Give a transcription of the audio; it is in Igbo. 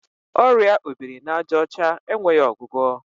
Ọrịa obirinajaọcha enweghị ọgwụgwọ.